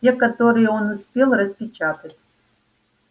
те которые он успел распечатать